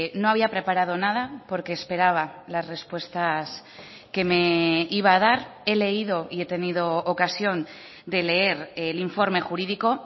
no había preparado nada porque esperaba las respuestas que me iba a dar he leído y he tenido ocasión de leer el informe jurídico